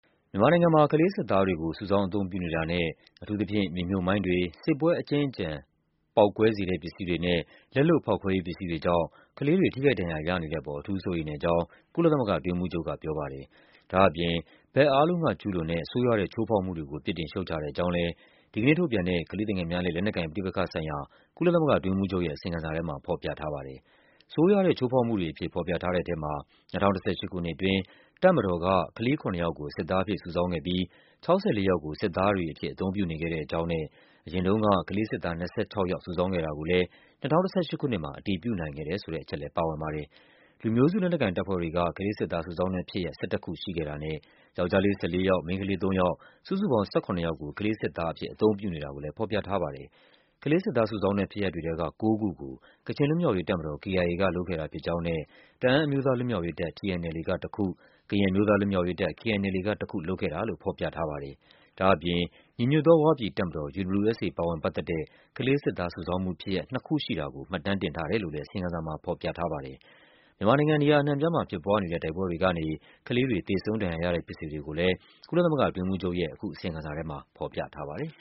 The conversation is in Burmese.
မြန်မာနိုင်ငံမှာ ကလေးစစ်သားတွေကို စုဆောင်း အသုံးပြုနေတာနဲ့ အထူးသဖြင့် မြေမြှုပ်မိုင်းတွေ၊ စစ်ပွဲအကြွင်းအကျန် ပေါက်ကွဲ စေတဲ့ပစ္စည်းတွေနဲ့ လက်လုပ် ဖောက်ခွဲရေးပစ္စည်းတွေကြောင့် ကလေးတွေ ထိခိုက်ဒဏ်ရာရနေတဲ့အပေါ် အထူးစိုးရိမ်တဲ့ အကြောင်း ကုလသမဂ္ဂအတွင်းရေးမှူးချုပ် က ပြောပါတယ်။ ဒါ့အပြင် ဘက်အားလုံးက ကျူးလွန်တဲ့ ဆိုးရွားတဲ့ ချိုးဖောက်မှုတွေကို ပြစ်တင်ရှုတ်ချတဲ့အကြောင်းလည်း ဒီကနေ့ထုတ်ပြန်တဲ့ ကလေးသူငယ်များနဲ့ လက်နက်ကိုင်ပဋိပက္ခဆိုင်ရာ ကုလသမဂ္ဂအတွင်းရေးမှူးချုပ်ရဲ့ အစီရင်ခံစာထဲမှာ ဖော်ပြထားပါတယ်။ ဆိုးရွားတဲ့ချိုးဖောက်မှုတွေအဖြစ် ဖော်ပြထားတဲ့ထဲမှာ ၂၀၁၈ ခုနှစ်အတွင်း တပ်မတော်က ကလေး ၇ ယောက်ကို စစ်သားအဖြစ် စုဆောင်းခဲ့ပြီး ၆၄ ယောက်ကို စစ်သားတွေအဖြစ် အသုံးပြုနေခဲ့တဲ့အကြောင်းနဲ့ အရင်တုန်းက ကလေးစစ်သား ၂၆ ယောက် စုဆောင်းခဲ့တာကိုလည်း ၂၀၁၈ ခုနှစ်မှာ အတည်ပြုနိုင်ခဲ့တယ်ဆိုတဲ့ အချက်လည်း ပါဝင်ပါတယ်။ လူမျိုးစုလက်နက်ကိုင်တပ်ဖွဲ့တွေက ကလေးစစ်သားစုဆောင်းတဲ့ဖြစ်ရပ် ၁၁ ခုရှိခဲ့တာနဲ့ ယောက်ျားလေး ၁၄ ယောက်၊ မိန်းကလေး ၃ ယောက်၊ စုစုပေါင်း ၁၇ ယောက်ကို ကလေးစစ်သားအဖြစ် အသုံးပြုနေတာကိုလည်း ဖော်ပြထားပါတယ်။ ကလေး စစ်သားစုဆောင်းတဲ့ဖြစ်ရပ်တွေထဲက ၉ ခုကို ကချင်လွတ်မြောက်ရေးတပ်မတော် KIA ကလုပ်ခဲ့တာဖြစ်ကြောင်းနဲ့ တအာန်း အမျိုးသား လွတ်မြောက်ရေးတပ် TNLA က ၁ ခု၊ ကရင်အမျိုးသားလွတ်မြောက်ရေးတပ် KNLA က တခု လုပ်ခဲ့တာလို့ ဖော်ပြ ထားပါတယ်။ ဒါ့အပြင် ညီညွတ်သော ဝပြည်တပ်မတော် UWSA ပါဝင်ပတ်သက်တဲ့ ကလေးစစ်သားစုဆောင်းမှုဖြစ်ရပ် နှစ်ခုရှိတာ ကို မှတ်တမ်းတင်ထားတယ်လို့လည်း အစီရင်ခံစာမှာဖော်ပြထားပါတယ်။ မြန်မာနိုင်ငံ နေရာအနှံ့အပြားမှာ ဖြစ်ပွားနေတဲ့ တိုက်ပွဲတွေကနေ ကလေးတွေ သေဆုံး ဒဏ်ရာရတဲ့ ဖြစ်စဉ်တွေကိုလည်း ကုလသမဂ္ဂအတွင်းရေးမှူးချုပ်ရဲ့ အခု အစီရင်ခံစာထဲမှာ ဖော်ပြထားပါတယ်။